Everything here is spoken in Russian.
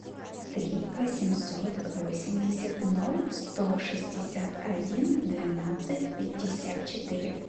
три восемьсот восемьдесят ноль сто шестьдесят один двенадцать пятьдесят четыре